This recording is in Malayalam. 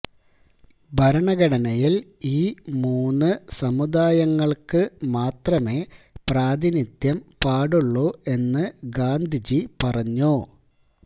ഭരണഘടനയിൽ ഈ മൂന്നു സമുദായങ്ങൾക്ക് മാത്രമേ പ്രാതിനിധ്യം പാടുള്ളൂ എന്ന് ഗാന്ധിജി പറഞ്ഞു